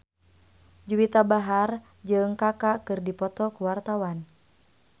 Juwita Bahar jeung Kaka keur dipoto ku wartawan